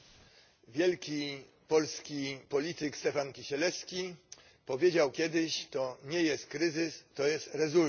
Wielki polski polityk Stefan Kisielewski powiedział kiedyś to nie jest kryzys, to jest rezultat.